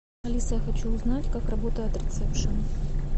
алиса я хочу узнать как работает ресепшен